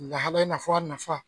Kahalaya in n'a fɔ nafa